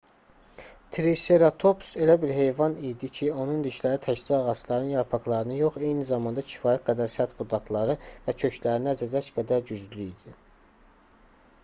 triseratops elə bir heyvan idi ki onun dişləri təkcə ağacların yarpaqlarını yox eyni zamanda kifayət qədər sərt budaqları və köklərini əzəcək qədər güclü idi